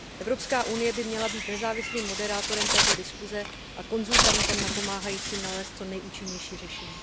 Evropská unie by měla být nezávislým moderátorem této diskuse a konzultantem napomáhajícím nalézt co neúčinnější řešení.